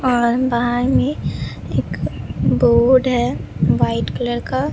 और बहार में एक बोड है व्हाइट कलर का--